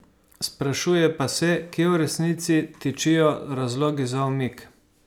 Sprašuje pa se, kje v resnici tičijo razlogi za umik.